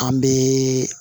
An bɛ